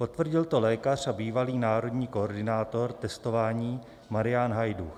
Potvrdil to lékař a bývalý národní koordinátor testování Marián Hajdúch.